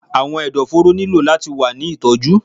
Awọn ẹdọforo nilo lati wa ni itọju